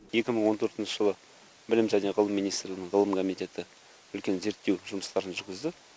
екі мың он төртінші жылы білім және ғылым министрлігінің ғылым комитеті үлкен зерттеу жұмыстарын жүргізді